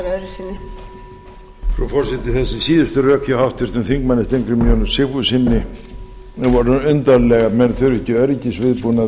frú forseti þessi síðustu rök hjá háttvirtum þingmönnum steingrími j sigfússon voru undarleg að menn þurfi ekki öryggisviðbúnað